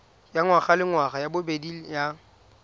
ya ngwagalengwaga ya bobedi ya